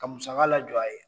Ka musaka la jɔ a ye.